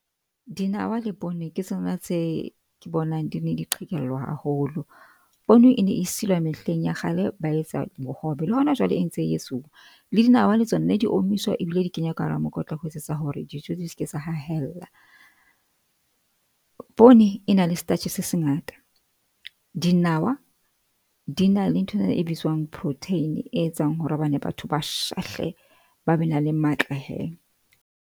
Dinawa le poone ke tsona tse ke bonang di ne di qhekellwa haholo. Poone e ne silwa mehleng ya kgale, ba etsa bohobe, le hona jwale e ntse e etsuwa. Le dinawa le tsona ne di omiswa di kenywa ka hara mokotla, ho etsetsa hore dijo di se ke tsa hlahella. Poone e na le starch se sengata, dinawa di na le nthwena e bitswang protein, e etsang hore hobane batho ba shahle ba be na le matla he.